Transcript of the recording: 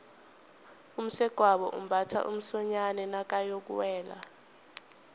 umsegwabo umbatha umsonyani nakayokuwela